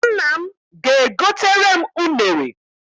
Nna m ga-egotere m unere.